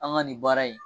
An ka nin baara in